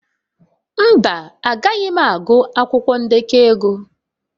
Mba, Agaghị m agụ akwụkwọ ndekọ ego.